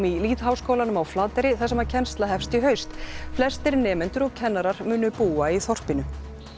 í lýðháskólanum á Flateyri þar sem kennsla hefst í haust flestir nemendur og kennarar munu búa í þorpinu